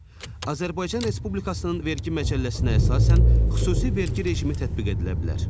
Azərbaycan Respublikasının vergi məcəlləsinə əsasən xüsusi vergi rejimi tətbiq edilə bilər.